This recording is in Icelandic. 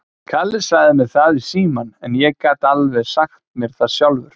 Kalli sagði mér það í símann, en ég gat alveg sagt mér það sjálfur.